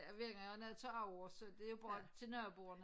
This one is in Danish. Hver gang jeg har noget til overs så det er bare til naboerne